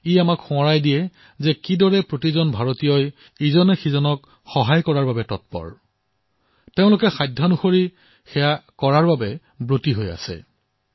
ই আমাক এই কথাৰ স্মৰণ কৰায় যে কিদৰে প্ৰতিজন ভাৰতীয়ই পৰস্পৰে পৰস্পৰক সহায়ৰ বাবে তৎপৰ তেওঁলোকে যিকোনো কাম কৰিব পাৰে